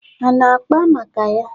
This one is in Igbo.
Ha ana-akpa maka ya?